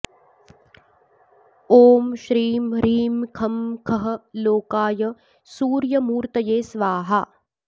ॐ श्रीं ह्रीं खं खः लोकाय सूर्यमूर्तये स्वाहा